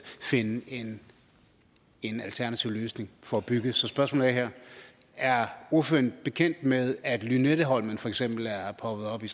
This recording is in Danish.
finde en en alternativ løsning for at bygge så spørgsmålet er her er ordføreren bekendt med at lynetteholmen for eksempel er poppet op i